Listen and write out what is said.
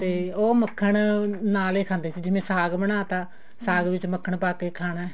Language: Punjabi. ਤੇ ਉਹ ਮੱਖਣ ਨਾਲ ਹੀ ਖਾਂਦੇ ਸੀਗੇ ਜਿਵੇਂ ਸਾਗ ਬਨਾਤਾ ਸਾਗ ਵਿੱਚ ਮੱਖਣ ਪਾ ਕੇ ਖਾਣਾ